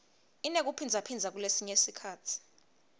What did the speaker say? inekuphindzaphindza kulesinye sikhatsi